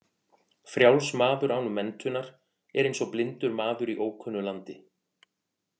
Frjáls maður án menntunar er eins og blindur maður í ókunnu landi.